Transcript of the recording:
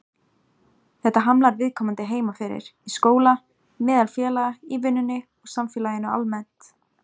Þetta hamlar viðkomandi heima fyrir, í skóla, meðal félaga, í vinnunni og samfélaginu almennt.